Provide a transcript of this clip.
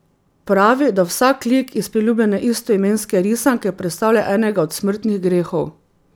Pravi, da vsak lik iz priljubljene istoimenske risanke predstavlja enega od smrtnih grehov.